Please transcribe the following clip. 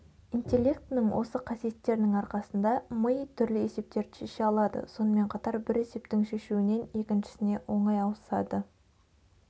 интеллектінің осы қасиеттерінің арқасында ми түрлі есептерді шеше алады сонымен қатар бір есептің шешуінен екіншісіне оңай ауысады